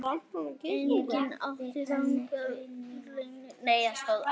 Enginn átti þangað erindi.